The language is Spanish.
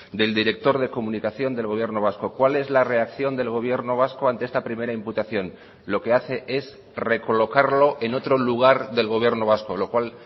del director de comunicación del gobierno vasco cuál es la reacción del gobierno vasco ante esta primera imputación lo que hace es recolocarlo en otro lugar del gobierno vasco lo cual